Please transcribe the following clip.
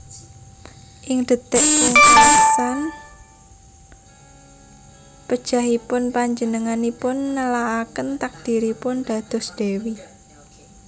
Ing detik pungkasan pejahipun panjenenganipun nelakaken takdiripun dados dèwi